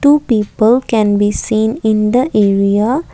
two people can be seen in the area.